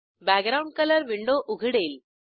background colour window उघडेल